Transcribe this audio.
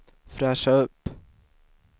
fräscha upp